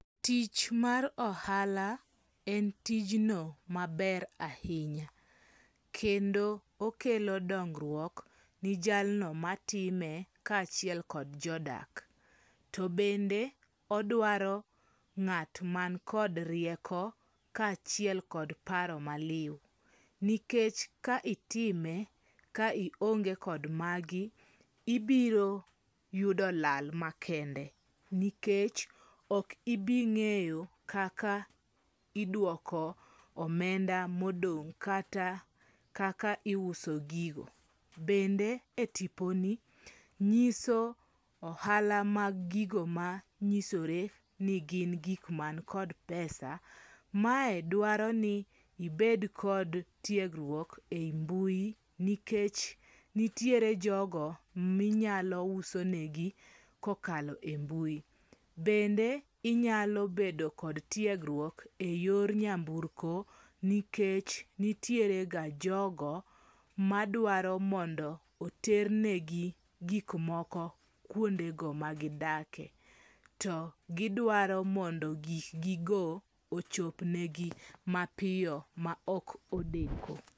Tich mar ohala en tijno maber ahinya, kendo okelo dongruok ni jalno matime ka chiel kod jodak, to bende odwaro ngat mankod rieko kachiel kod paro maliu, nikech ka itime ka ionge kod magi ibiro yudo lal makende nikech okibinge'yo kaka idwoko omenda modong' kata kaka iuso gigo, bende e tiponi nyiso ohala mag gigo manyisore ni gin gik man kod pesa, mae dwaro ni ibed kod tiegruok e mbuyi nikech nitiere jogo minyalousonegi kokalo e mbuyu, bende inyalo bedo kod tiegruok e yor nyamburko nikech nitirega jogo madwaro mondo oternegi gikmoko kuondego magidake, to gidwaro mondo gik gigo ochopnegi mapiyo ma ok odeko